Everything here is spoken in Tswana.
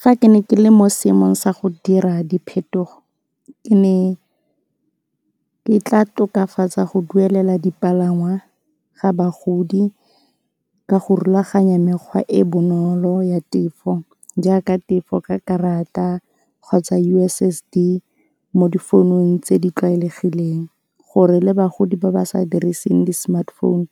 Fa ke ne ke le mo seemong sa go dira diphetogo, ke ne ke tla tokafatsa go duelela dipalangwa ga bagodi ka go rulaganya mekgwa e e bonolo ya tefo, jaaka tefo ka karata kgotsa U_S_S_D mo difounung tse di tlwaelegileng gore le bagodi ba ba sa diriseng di-smartphone